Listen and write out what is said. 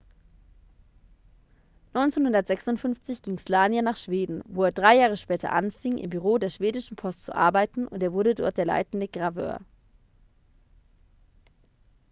1956 ging słania nach schweden wo er drei jahre später anfing im büro der schwedischen post zu arbeiten und er wurde dort der leitende graveur